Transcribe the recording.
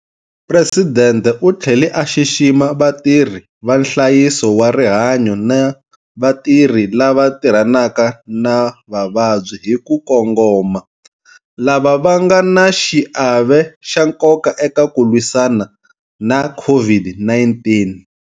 Presidente u tlhele a xixima vatirhi va nhlayiso wa rihanyo na vatirhi lava tirhanaka na vavabyi hi ku kongoma lava va nga na xiave xa nkoka eka ku lwisana na COVID-19.